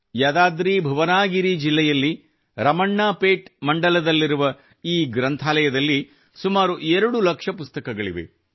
ಯದಾದ್ರಿಭುವನಗಿರಿ ಜಿಲ್ಲೆಯಲ್ಲಿ ರಮಣ್ಣಾ ಪೇಟ್ಮಂಡಲ್ ದಲ್ಲಿರುವ ಈ ಗ್ರಂಥಾಲಯದಲ್ಲಿ ಸುಮಾರು 2 ಲಕ್ಷ ಪುಸ್ತಕಗಳಿವೆ